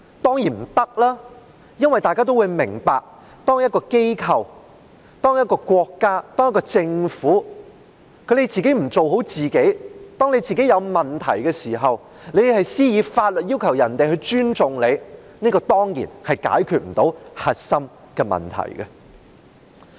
當然不能，因為大家也明白，當一個機構、一個國家、一個政府不做好自己，出現問題的時候只懂以法律要求人民尊重它，這當然無法解決核心的問題。